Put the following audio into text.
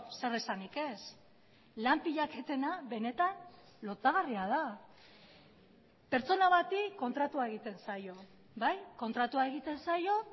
zer esanik ez lan pilaketena benetan lotsagarria da pertsona bati kontratua egiten zaio bai kontratua egiten zaio